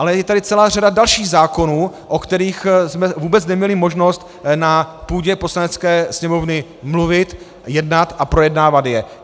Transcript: Ale je tady celá řada dalších zákonů, o kterých jsme vůbec neměli možnost na půdě Poslanecké sněmovny mluvit, jednat a projednávat je.